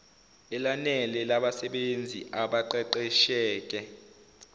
elanele labasebenzi abaqeqesheke